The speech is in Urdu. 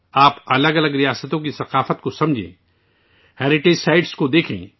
آپ مختلف ریاستوں کی ثقافت کو سمجھتے ہیں، ثقافتی ورثے کو دیکھیں